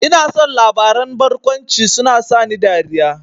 Ina son labaran barkwanci, suna sani dariya